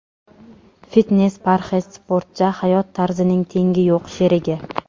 Fitnes-parhez sportcha hayot tarzining tengi yo‘q sherigi!